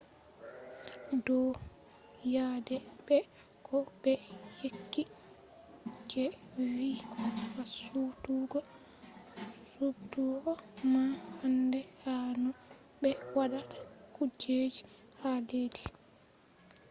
ɗo yadai be ko be yecci je vi fasutuggo suɓtugo man handai ha no be watta kujeji ha leddi